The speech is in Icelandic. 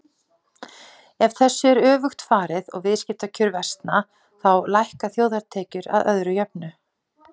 Ef þessu er öfugt farið og viðskiptakjör versna þá lækka þjóðartekjur að öðru jöfnu.